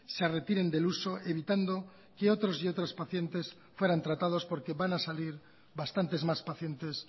se retiren del uso evitando que otros y otras pacientes fueran tratados porque van a salir bastantes más pacientes